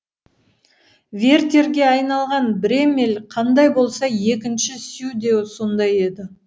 вертерге айналған бреммель қандай болса екінші сю де сондай еді